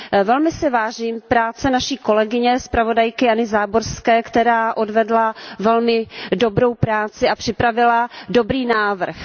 Velmi si vážím práce naší kolegyně, zpravodajky Jany Záborské, která odvedla velmi dobrou práci a připravila dobrý návrh.